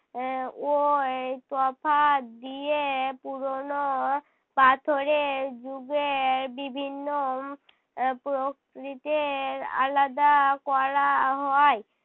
এর ওই তফাৎ দিয়ে পুরোনো পাথরের যুগে বিভিন্ন আহ প্রকৃতির আলাদা করা হয়।